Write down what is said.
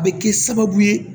A bɛ kɛ sababu ye